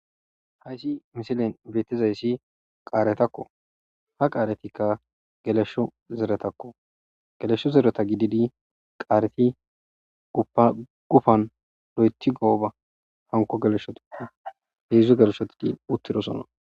Haysi misiley beetizaysi qaaretako.ha qaaretika gelesho zeretako. Gelesho zereta gididi qaareti uba gufan loyti gooba hanko geleshotappe.heedzu geleshoti uttidosona.